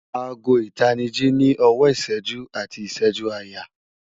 Aago ìtanijí náà ní ọwọ́ ìṣẹ́jú àti ìṣẹ́jú-àyà